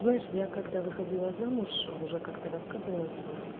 знаешь я когда выходила замуж уже как-то рассказывала эту